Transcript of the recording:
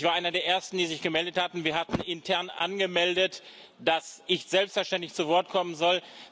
Ich war einer der Ersten, die sich gemeldet hatten. Wir hatten intern angemeldet, dass ich selbstverständlich zu Wort kommen soll.